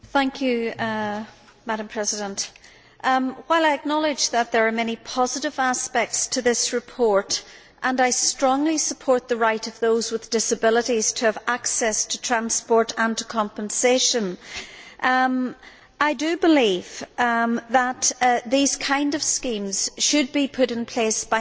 Madam President, while I acknowledge that there are many positive aspects to this report and I strongly support the right of those with disabilities to have access to transport and to compensation I believe that these kinds of schemes should be put in place by national governments.